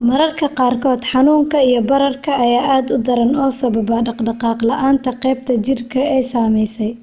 Mararka qaarkood, xanuunka iyo bararka ayaa aad u daran oo sababa dhaqdhaqaaq la'aan qaybta jidhka ee ay saamaysay.